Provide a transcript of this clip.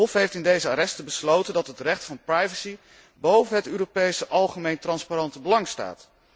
Het Hof heeft in deze arresten besloten dat het recht van privacy boven het Europese algemeen transparante belang staat.